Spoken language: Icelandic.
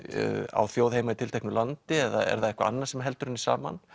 á þjóð heima í tilteknu landi eða er það eitthvað annað sem heldur henni saman